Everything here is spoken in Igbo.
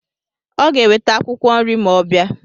Ọ ga-eweta akwụkwọ nri ma ọ bịa.